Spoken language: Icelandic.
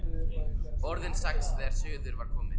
Orðin sex þegar suður var komið.